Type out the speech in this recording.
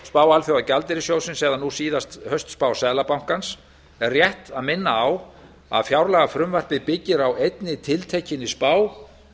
spá alþjóðagjaldeyrissjóðsins eða nú síðast haustspá seðlabankans er rétt að minna á að fjárlagafrumvarpið byggir á einni tiltekinni spá